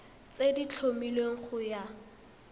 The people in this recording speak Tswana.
tse di tlhomilweng go ya